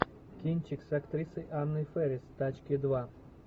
кинчик с актрисой анной фэрис тачки два